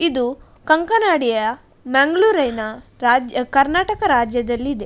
ಇದು ಕಂಕನಾಡಿಯ ಮಂಗಳೂರ್ ಅಯ್ನಾ ರಾಜ್ ಕರ್ನಾಟಕ ರಾಜ್ಯದಲ್ಲಿದೆ.